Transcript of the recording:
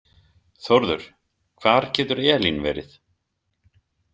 Þórður, hvar getur Elín verið?